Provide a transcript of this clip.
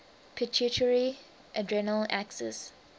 pituitary adrenal axis